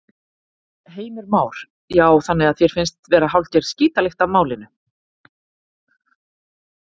Heimir Már: Já, þannig að þér finnst vera hálfgerð skítalykt af málinu?